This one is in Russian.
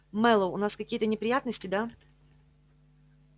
мэллоу у нас какие-то неприятности да